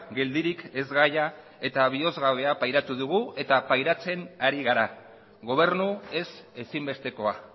geldirik ezgaia eta bihozgabea pairatu dugu eta pairatzen ari gara gobernu ez ezinbestekoa